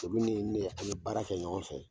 Tebou ni ne an ye baara kɛ ɲɔgɔn fɛ